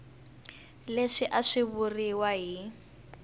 leswi a swi vuriwa hi